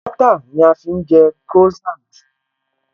Bọ́ọ́tà ni a fi ń jẹ Croissant